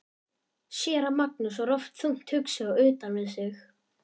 Séra Magnús var oft þungt hugsi og utan við sig.